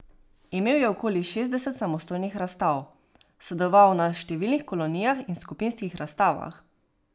Imel je okoli šestdeset samostojnih razstav, sodeloval na številnih kolonijah in skupinskih razstavah.